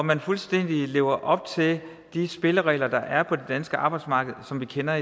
man fuldstændig lever op til de spilleregler der er på det danske arbejdsmarked som vi kender